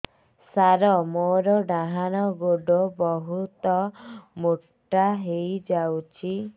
ସାର ମୋର ଡାହାଣ ଗୋଡୋ ବହୁତ ମୋଟା ହେଇଯାଇଛି